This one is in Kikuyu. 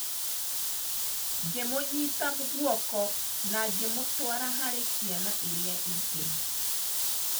Ngĩmũnyiita guoko na ngĩmũtwara harĩ ciana iria ingĩ.